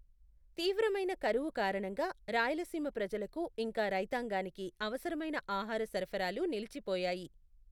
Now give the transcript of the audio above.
తీవ్రమైన కరువు కారణంగా, రాయలసీమ ప్రజలకు ఇంకా రైతాంగానికి అవసరమైన ఆహార సరఫరాలు నిలిచిపోయాయి.